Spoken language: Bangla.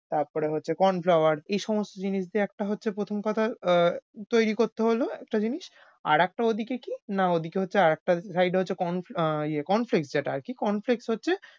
তারপরে হচ্ছে এইসমস্ত জিনিস দিয়ে একটা হচ্ছে প্রথম কথা ওও তৈরি করতে হোল একটা জিনিস। আরেকটা ওদিকে কি? না ওদিকে হচ্ছে আরেকটা corn~fla corn flex যেটা আরকি corn flex হচ্ছে,